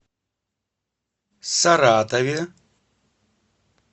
саратове